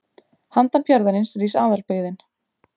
Handan fjarðarins rís aðalbyggðin.